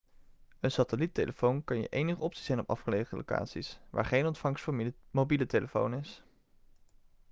een satelliettelefoon kan je enige optie zijn op afgelegen locaties waar geen ontvangst voor mobiele telefoon is